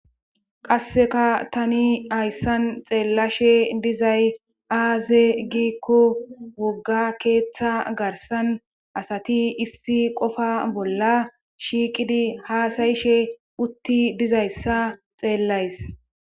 qasseka tani hayssan xeellashe dizay aaze giikko wogga keeththa garsan asati isti qofa bolla shiiqidi haasayishe utti dizayssa xeellays